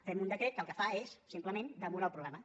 fem un decret que el que fa és simplement demorar el problema